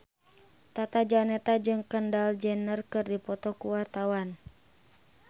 Tata Janeta jeung Kendall Jenner keur dipoto ku wartawan